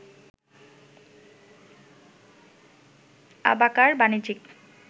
অ্যাবাকার বাণিজ্যিক